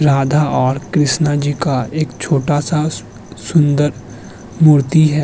राधा और कृष्ण जी का एक छोटा-सा सुंदर मूर्ति है।